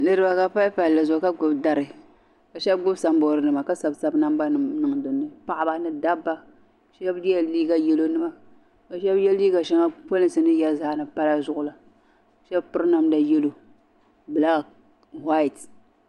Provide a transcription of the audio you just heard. Niribi. n ʒiya bɛ chanla demos treshiong, bɛ mi galisiya ŋun bala ye liiga yelɔw ka piri shuu ka sɔ jinjam sabinli. ka zaŋ liiga n lɔ ɔ sheeni ka ŋun bala zaŋ dɔɣi n tirɔ